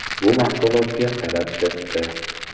Bu mahsulotga talab katta.